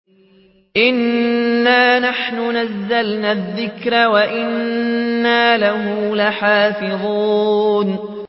إِنَّا نَحْنُ نَزَّلْنَا الذِّكْرَ وَإِنَّا لَهُ لَحَافِظُونَ